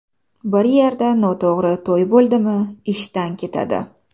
Bir yerda noto‘g‘ri to‘y bo‘ldimi, ishdan ketadi.